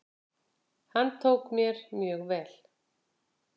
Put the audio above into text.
Hann tók mér mjög vel.